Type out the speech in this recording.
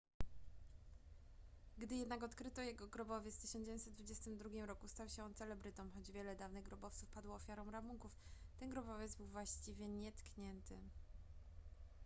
gdy jednak odkryto jego grobowiec w 1922 roku stał się on celebrytą choć wiele dawnych grobowców padło ofiarą rabunków ten grobowiec był właściwie nietknięty